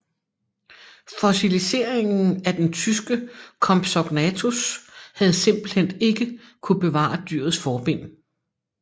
Fossiliseringen af den tyske Compsognathus havde simpelthen ikke kunnet bevare dyrets forben